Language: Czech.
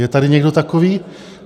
Je tady někdo takový?